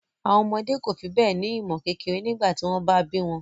Àwọn ọmọdé kò fi bẹ́ẹ̀ ní ìmọ̀ kékeré nígbà tí wọ́n bá bí wọn